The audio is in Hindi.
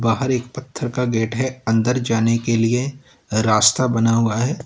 बाहर एक पत्थर का गेट है अंदर जाने के लिए रास्ता बना हुआ है।